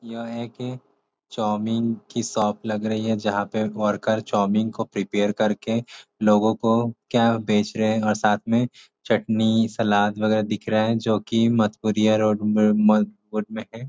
यह एक चाउमीन की शॉप लग रही है जहाँ पे एक वर्कर चाउमीन को प्रीपेयर करके लोगो को क्या बेच रहे हैं और साथ में चटनी सलाद वगैरह दिख रहे हैं जो कि में है।